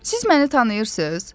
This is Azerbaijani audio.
"Siz məni tanıyırsınız?"